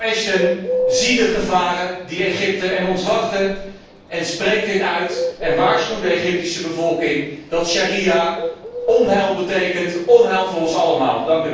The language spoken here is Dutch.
Mevrouw Ashton, zie de gevaren die Egypte en ons wachten en spreek dit uit. Waarschuw de Egyptische bevolking dat de sharia onheil betekent, onheil voor ons allemaal.